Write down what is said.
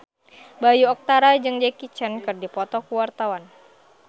Bayu Octara jeung Jackie Chan keur dipoto ku wartawan